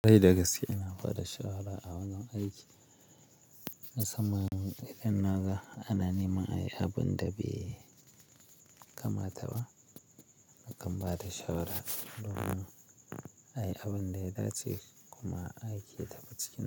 Dai da gaske ina bada shawara a wanan aiki. Na tsammanin idan na ga ana nema ayi abun da bai kamata ba, na kan bada shawara domin ayi abun da ya dace kuma aiki ya tafi cikin.